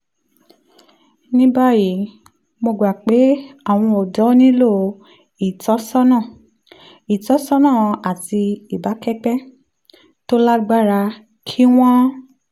ní báyìí mo gbà pé àwọn ọ̀dọ́ nílò ìtọ́sọ́nà ìtọ́sọ́nà àti ìbákẹ́gbẹ́ tó lágbára kí wọ́n